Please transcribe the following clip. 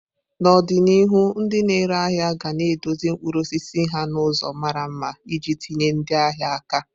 N'ọdịnihu, ndị na-ere ahịa ga na edozi mkpụrụ osisi ha n'ụzọ mara mma iji tinye ndị ahịa aka.